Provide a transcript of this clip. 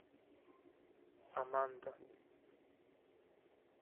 аманда